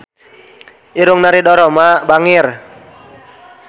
Irungna Ridho Roma bangir